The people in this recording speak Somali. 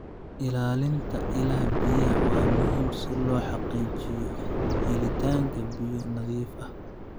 Ilaalinta ilaha biyaha waa muhiim si loo xaqiijiyo helitaanka biyo nadiif ah.